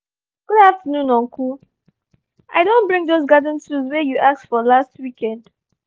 good afternoon uncle. i don bring those garden tools wey you ask for last weekend